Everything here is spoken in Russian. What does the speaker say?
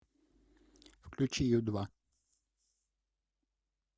включи ю два